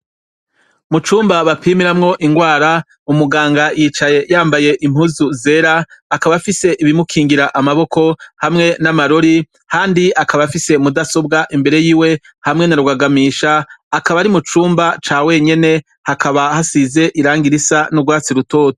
Mucumba bapimiramwo ingwara umuganga yicaye yambaye impuzu zera akaba fise ibimukingira amaboko hamwe n'amarori, kandi akaba afise mudasobwa imbere yiwe hamwe narwagamisha akaba ari mu cumba ca wenyene hakaba hasize iranga irisa n'urwatsi rutoto.